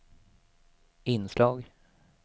inslag